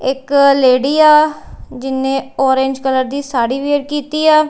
ਇੱਕ ਲੇਡੀ ਆ ਜਿੰਨੇ ਔਰੇਂਜ ਕਲਰ ਦੀ ਸਾਰੀ ਵੇਅਰ ਕੀਤੀ ਆ।